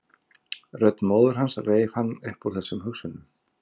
Rödd móður hans reif hann upp úr þessum hugsunum.